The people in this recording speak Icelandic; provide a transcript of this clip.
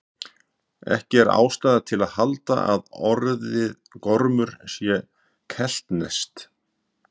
Ekki er ástæða til að halda að orðið gormur sé keltneskt.